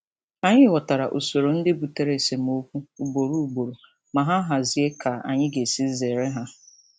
Anyị ghọtara usoro ndị butere esemokwu ugboro ugboro ma hazie ka anyị ga-esi zere ha.